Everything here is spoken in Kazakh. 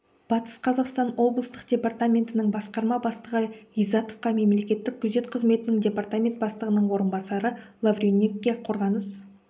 батыс қазақстан облыстық департаментінің басқарма бастығы ғиззатовқа мемлекеттік күзет қызметінің департамент бастығының орынбасары лавренюкке қорғаныс